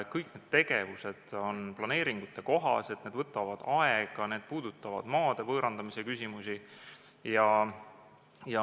Kõik need tegevused on planeeringukohased, need võtavad aega, need puudutavad maade võõrandamise küsimusi.